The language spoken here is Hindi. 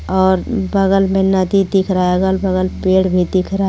और बगल में नदी दिख रहा है अगर बगल पेड़ भी दिख रहा है.